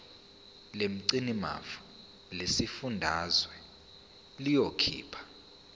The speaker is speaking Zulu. lomgcinimafa lesifundazwe liyokhipha